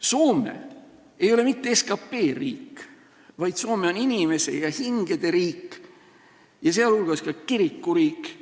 Soome ei ole mitte SKT riik, vaid Soome on inimeste ja hingede riik, sh kirikuriik.